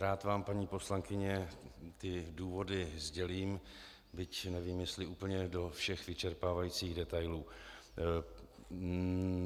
Rád vám, paní poslankyně, ty důvody sdělím, byť nevím, jestli úplně do všech vyčerpávajících detailů.